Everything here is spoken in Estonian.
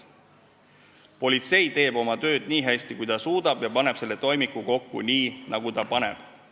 Politsei teeb oma tööd nii hästi, kui ta suudab, ja paneb selle toimiku kokku nii, nagu ta paneb.